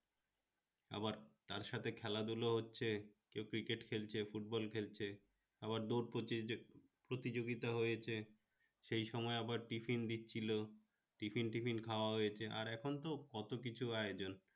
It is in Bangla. আবার তার সাথে খেলাধুলা হচ্ছে কেউ cricket খেলছে football খেলছে আবার দৌড় প্রতিযোগিতা হয়েছে সেই সময় আবার tiffin দিচ্ছিল tiffin ঠিফিন খাওয়া হয়েছে আর এখন তো কত কিছু আয়োজন